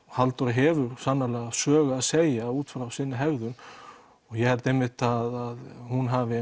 Halldóra hefur sannarlega sögu að segja út frá sinni hegðun og ég held einmitt að hún hafi